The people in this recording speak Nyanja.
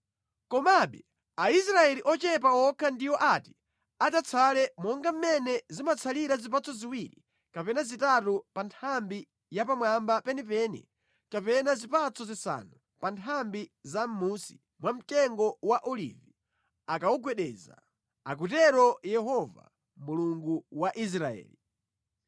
Komabe Aisraeli ochepa okha ndiwo ati adzatsale monga mʼmene zimatsalira zipatso ziwiri kapena zitatu pa nthambi ya pamwamba penipeni kapena zipatso zisanu pa nthambi za mʼmunsi mwa mtengo wa olivi akawugwedeza,” akutero Yehova, Mulungu wa Israeli.